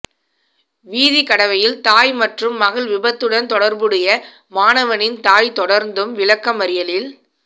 வீதி கடவையில் தாய் மற்றும் மகள் விபத்துடன் தொடர்புடைய மாணவனின் தாய் தொடர்ந்தும் விளக்கமறியலில்